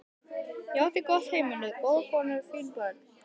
Ég átti gott heimili, góða konu, fín börn.